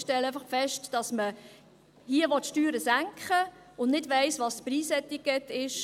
Ich stelle einfach fest, dass man hier Steuern senken will und nicht weiss, welches das Preisetikett ist.